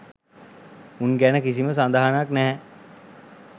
උන් ගැන කිසිම සඳහනක් නැහැ